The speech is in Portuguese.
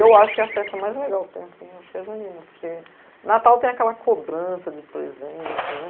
Eu acho que a festa mais legal que tem, assim, acho que é a junina, porque Natal tem aquela cobrança de presente, né?